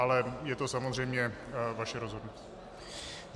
Ale je to samozřejmě vaše rozhodnutí.